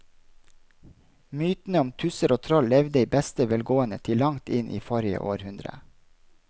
Mytene om tusser og troll levde i beste velgående til langt inn i forrige århundre.